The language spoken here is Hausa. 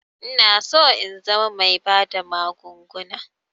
Inaso in zama bai bada magunguna